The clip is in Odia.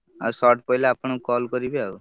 ଆଉ short ପାଇଲେ ଆପଣଙ୍କୁ call କରିବି ଆଉ।